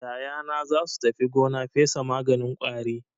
Yayana za su tafi gona fesa maganin ƙwari.